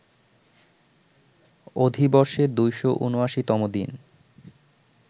অধিবর্ষে ২৭৯ তম দিন